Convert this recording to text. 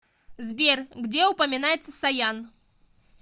сбер где упоминается саян